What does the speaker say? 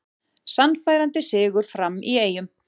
Sannfærandi sigur Fram í Eyjum